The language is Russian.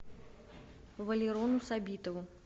валерону сабитову